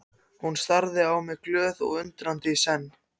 Hún starði á mig glöð og undrandi í senn.